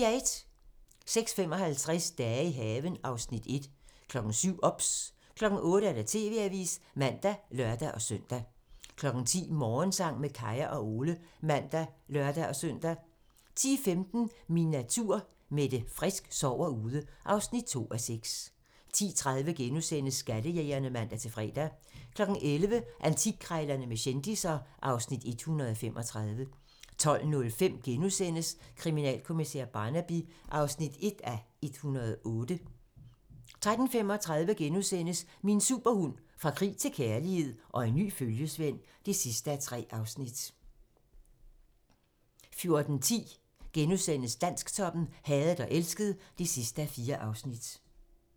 06:55: Dage i haven (Afs. 1) 07:00: OBS 08:00: TV-avisen (man og lør-søn) 10:00: Morgensang med Kaya og Ole (man og lør-søn) 10:15: Min natur - Mette Frisk sover ude (2:6) 10:30: Skattejægerne *(man-fre) 11:00: Antikkrejlerne med kendisser (Afs. 135) 12:05: Kriminalkommissær Barnaby (1:108)* 13:35: Min superhund: Fra krig til kærlighed - og en ny følgesvend (3:3)* 14:10: Dansktoppen: Hadet og elsket (4:4)*